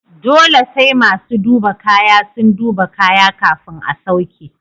Dole sai masu duba kaya sun duba kaya kafin a sauke.